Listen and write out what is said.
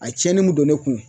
A ye cɛni min don ne kun